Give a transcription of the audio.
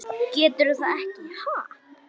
Geturðu það ekki, ha?